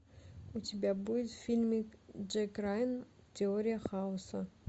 у тебя будет фильмик джек райан теория хаоса